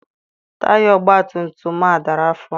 Taya ọgbatumtum a dara afọ.